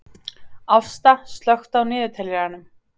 Ásta, slökktu á niðurteljaranum.